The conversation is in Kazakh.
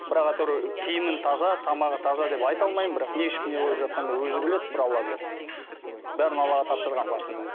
бірақ әйтеуір киімін таза тамағы таза деп айта алмаймын бірақ не ішіп не қойып жатқанын да өзі біледі бір алла біледі бәрін аллаға тапсырғанмын басында